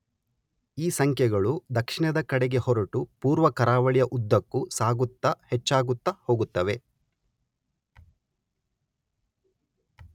ಈ ಸಂಖ್ಯೆಗಳು ದಕ್ಷಿಣದ ಕಡೆಗೆ ಹೊರಟು ಪೂರ್ವ ಕರಾವಳಿಯ ಉದ್ದಕ್ಕೂ ಸಾಗುತ್ತಾ ಹೆಚ್ಚಾಗುತ್ತಾ ಹೋಗುತ್ತವೆ.